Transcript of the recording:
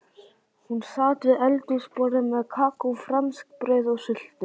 Hún sat við eldhúsborðið með kakó, franskbrauð og sultu.